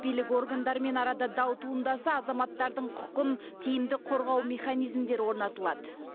билік органдарымен арада дау туындаса азаматтардың құқын тиімді қорғау механизмдері орнатылады